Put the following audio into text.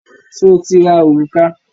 Sọ ti ra òrùka?